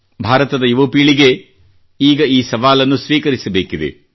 ಭಾರತದ ಯುವಪೀಳಿಗೆ ಈಗ ಈ ಸವಾಲನ್ನು ಸ್ವೀಕರಿಸಬೇಕಿದೆ